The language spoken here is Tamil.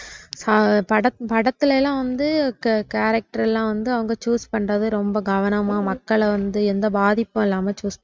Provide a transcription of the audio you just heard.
ஆஹ் பட படத்துலலாம் வந்து கே character லாம் அவங் choose பண்றது ரொம்ப கவனமா மக்கள வந்து எந்த பாதிப்பும் இல்லாம choose பண்ணனும்